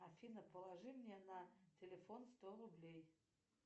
афина положи мне на телефон сто рублей